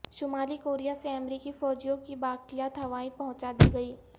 شمالی کوریا سے امریکی فوجیوں کی باقیات ہوائی پہنچادی گئیں